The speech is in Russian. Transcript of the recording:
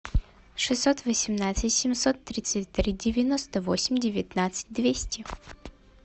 шестьсот восемнадцать семьсот тридцать три девяносто восемь девятнадцать двести